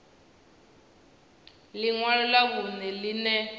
ḽi ṅwalo ḽa vhuṋe ḽine